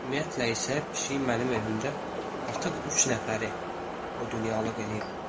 Ümumiyyətlə isə pişik mənim evimdə artıq üç nəfəri o dünyalıq eləyib.